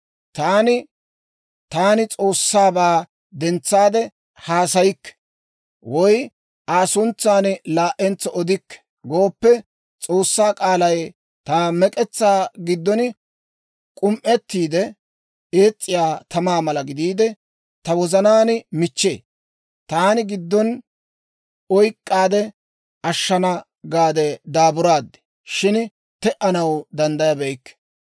Taani, «Taani S'oossaabaa dentsaade haasayikke» woy, «Aa suntsan laa"entso odikke» gooppe, S'oossaa k'aalay ta mek'etsaa giddon k'um"ettiide, ees's'iyaa tamaa mala gidiide, ta wozanaan michchee. Taani giddon oyk'k'aade ashshana gaade daaburaad; shin te"anaw danddayabeykke.